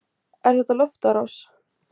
Er þetta loftárás?